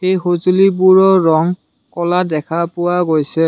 এই সঁজুলিবোৰৰ ৰং ক'লা দেখা পোৱা গৈছে।